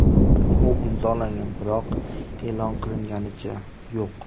U imzolangan, biroq e’lon qilinganicha yo‘q.